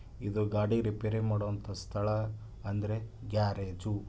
ಇದು ಗಾಡಿ ರಿಪೇರಿ ಮಾಡುವಂತಹ ಸ್ಥಳ ಅಂದ್ರೆ ಗ್ಯಾರೇಜು .